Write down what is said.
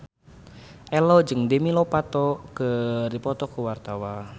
Ello jeung Demi Lovato keur dipoto ku wartawan